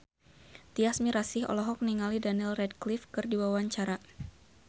Tyas Mirasih olohok ningali Daniel Radcliffe keur diwawancara